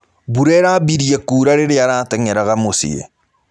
Mbũra ĩrabĩrĩe kũra rĩrĩa aratengeraga mũcĩĩ.